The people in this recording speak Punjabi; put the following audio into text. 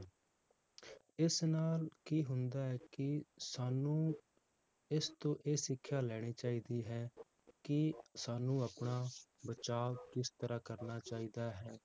ਇਸ ਨਾਲ ਕੀ ਹੁੰਦਾ ਹੈ ਕਿ ਸਾਨੂੰ ਇਸ ਤੋਂ ਇਹ ਸਿੱਖਿਆ ਲੈਣੀ ਚਾਹੀਦੀ ਹੈ ਕਿ ਸਾਨੂੰ ਆਪਣਾ ਬਚਾਵ ਕਿਸ ਤਰਾਹ ਕਰਨਾ ਚਾਹੀਦਾ ਹੈ